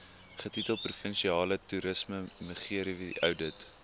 getitel provinsiale toerismegerieweoudit